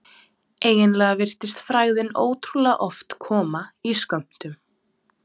Eiginlega virtist frægðin ótrúlega oft koma í skömmtum.